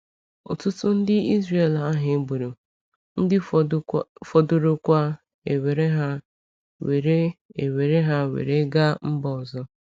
Ụtụtụ ndị Israeli ahụ e gburu, ndị fọdụrụkwa ewere ha were ewere ha were gaa mba ọzọ.